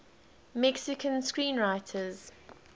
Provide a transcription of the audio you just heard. mexican screenwriters